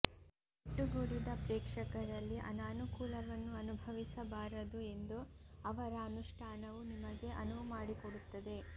ಒಟ್ಟುಗೂಡಿದ ಪ್ರೇಕ್ಷಕರಲ್ಲಿ ಅನಾನುಕೂಲವನ್ನು ಅನುಭವಿಸಬಾರದು ಎಂದು ಅವರ ಅನುಷ್ಠಾನವು ನಿಮಗೆ ಅನುವು ಮಾಡಿಕೊಡುತ್ತದೆ